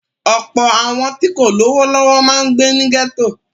Ọ̀pọ̀ àwọn tí kò lówó lọ́wọ́ máa ń gbé ní gẹ́tò.